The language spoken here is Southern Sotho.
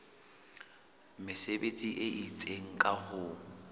mesebetsi e itseng ka ho